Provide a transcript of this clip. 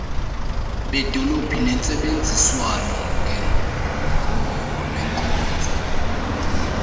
beedolophu ngentsebenziswano nenkonzo